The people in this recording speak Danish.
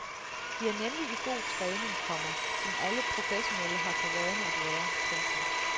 De er nemlig i god træning, komma som alle professionelle har for vane at være. punktum